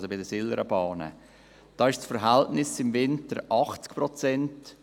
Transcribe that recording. Hier sind es im Winter 80 Prozent.